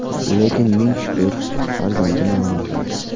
Lekin, ming shukr, farzandim yonimda.